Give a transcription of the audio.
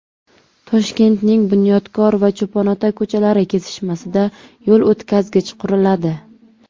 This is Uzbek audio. Toshkentning Bunyodkor va Cho‘ponota ko‘chalari kesishmasida yo‘l o‘tkazgich quriladi.